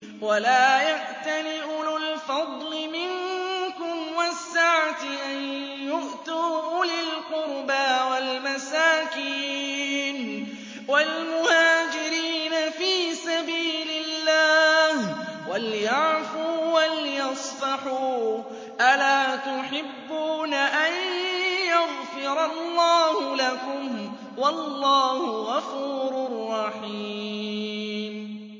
وَلَا يَأْتَلِ أُولُو الْفَضْلِ مِنكُمْ وَالسَّعَةِ أَن يُؤْتُوا أُولِي الْقُرْبَىٰ وَالْمَسَاكِينَ وَالْمُهَاجِرِينَ فِي سَبِيلِ اللَّهِ ۖ وَلْيَعْفُوا وَلْيَصْفَحُوا ۗ أَلَا تُحِبُّونَ أَن يَغْفِرَ اللَّهُ لَكُمْ ۗ وَاللَّهُ غَفُورٌ رَّحِيمٌ